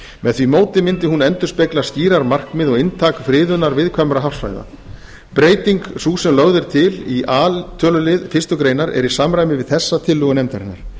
með því móti mundi hún endurspegla skýrar markmið og inntak friðunar viðkvæmra hafsvæða breyting sú sem lögð er til í a lið fyrstu grein er í samræmi við þessa tillögu nefndarinnar